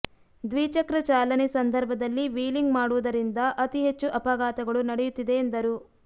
ದ್ವಿಚಕ್ರ ಚಾಲನೆ ಸಂದರ್ಭದಲ್ಲಿ ವ್ಹೀಲಿಂಗ್ ಮಾಡುವುದರಿಂದ ಅತಿ ಹೆಚ್ಚು ಅಪಘಾತಗಳು ನಡೆಯುತ್ತಿದೆ ಎಂದರು